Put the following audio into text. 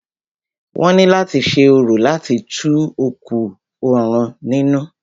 Wọ́n ní láti ṣe orò láti tu òkú òrun nínú.